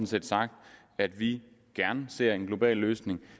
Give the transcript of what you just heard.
set sagt at vi gerne ser en global løsning